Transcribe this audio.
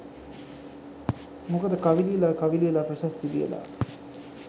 මොකද කවි ලියලා කවි ලියලා ප්‍රශස්ති ලියලා